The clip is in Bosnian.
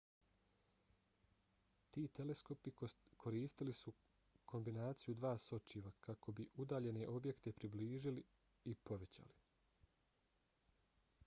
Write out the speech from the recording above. ti teleskopi koristili su kombinaciju dva sočiva kako bi udaljene objekte približili i povećali